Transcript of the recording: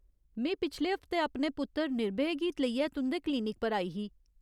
में पिछले हफ्तै अपने पुत्तर निर्भय गी लेइयै तुं'दे क्लीनिक पर आई ही।